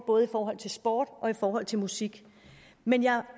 både i forhold til sport og i forhold til musik men jeg